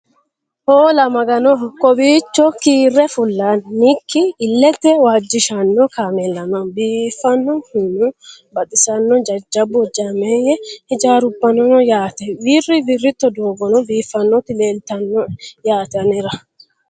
Hoola!! Magganoho. kowichcho kiire fullanikki ilette waajishshanno kaammela noo. biifanohuna baxxisano jajjabbu hojjameyye hiijjarrubbano noo yaatte. wirri wirritto dooggono biiffanoti leelitanoe yaatte annera